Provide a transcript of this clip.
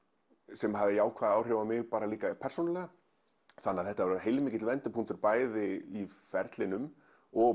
sem hafði jákvæð áhrif á mig bara persónulega þannig að þetta var heilmikill vendipunktur bæði á ferlinum og